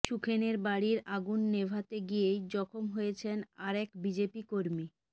সুখেনের বাড়ির আগুন নেভাতে গিয়েই জখম হয়েছেন আর এক বিজেপি কর্মী